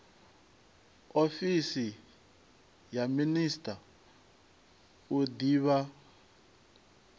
ofisi ya master u divha